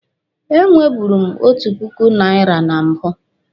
E nweburu m otu puku naira na mbụ.